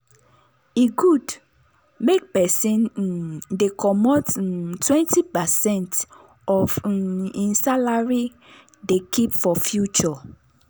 e good make persin um dey commot um 20 percent of um hin salary dey keep for future